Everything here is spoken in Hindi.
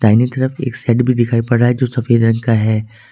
दाहिनी तरफ एक सेट भी दिखाई पड़ा है जो सफेद रंग का है।